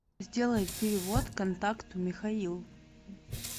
сделай перевод контакту михаил